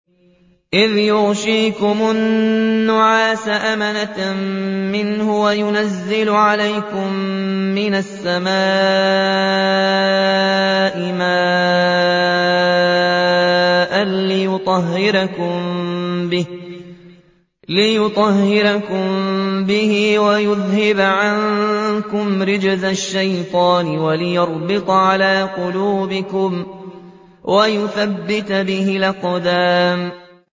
إِذْ يُغَشِّيكُمُ النُّعَاسَ أَمَنَةً مِّنْهُ وَيُنَزِّلُ عَلَيْكُم مِّنَ السَّمَاءِ مَاءً لِّيُطَهِّرَكُم بِهِ وَيُذْهِبَ عَنكُمْ رِجْزَ الشَّيْطَانِ وَلِيَرْبِطَ عَلَىٰ قُلُوبِكُمْ وَيُثَبِّتَ بِهِ الْأَقْدَامَ